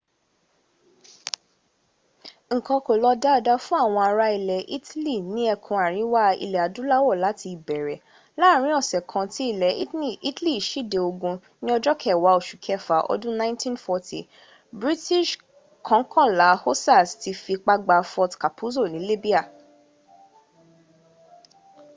nnkan kò lọ dáadáa fún àwọn ará ilẹ̀ italy ní ẹkùn àríwá ilẹ̀ adúláwọ̀ láti ìbẹ̀ẹ̀rẹ̀ láàárin ọ̀ṣẹ̀ kan tí ilẹ̀ italy síde ogun ni ọjọ kẹwa ọṣù kẹfà ọdún 1940 british kọkànlá hussars ti fipá gba fort capuzzo ni libya